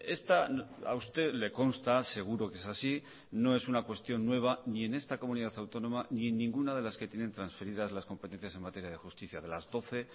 esta a usted le consta seguro que es así no es una cuestión nueva ni en esta comunidad autónoma ni en ninguna de las que tienen transferidas las competencias en materia de justicia de las doce